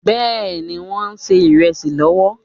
Bẹ́ẹ̀ni, wọ́n ń ṣe ìrẹsì lọ́wọ́?